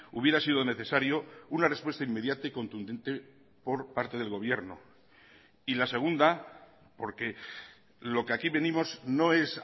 hubiera sido necesario una respuesta inmediata y contundente por parte del gobierno y la segunda porque lo que aquí venimos no es